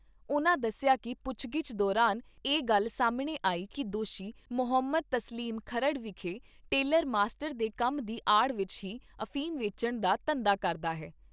ਉਨ੍ਹਾਂ ਦੱਸਿਆ ਕਿ ਪੁੱਛਗਿੱਛ ਦੌਰਾਨ ਇਹ ਗੱਲ ਸਾਹਮਣੇ ਆਈ ਕਿ ਦੋਸੀ ਮੁਹੰਮਦ ਤਸਲੀਮ ਖਰੜ ਵਿਖੇ ਟੇਲਰ ਮਾਸਟਰ ਦੇ ਕੰਮ ਦੀ ਆੜ ਵਿੱਚ ਹੀ ਅਫੀਮ ਵੇਚਣ ਦਾ ਧੰਦਾ ਕਰਦਾ ਹੈ।